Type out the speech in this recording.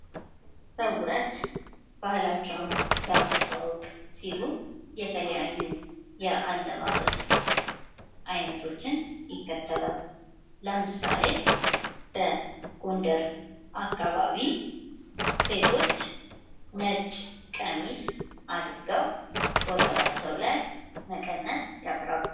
ሰዎች ባህላቸውን ለማስታወቀ ሲሉ የተለያዩ የአለባበስ አይነቶችን ይከተላሉ። ለምሳሌ በጎንደር አካባቢ ሴቶች ነጭ ቀሚስ አድርገው ወገባቸውን ላይ መቀነት ያስራሉ።